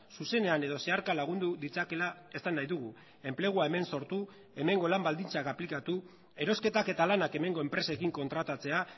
zuzenean edo zeharka lagundu ditzakeela esan nahi dugu enplegua hemen sortu hemengo lan baldintzak aplikatu erosketak eta lanak hemengo enpresekin kontratatzea